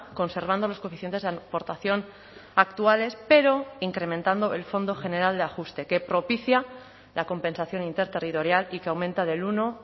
conservando los coeficientes de aportación actuales pero incrementando el fondo general de ajuste que propicia la compensación interterritorial y que aumenta del uno